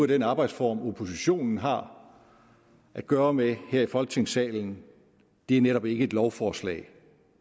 den arbejdsform oppositionen har at gøre med her i folketingssalen det er netop ikke et lovforslag